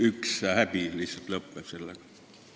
Üks häbi lihtsalt lõpeb sellega.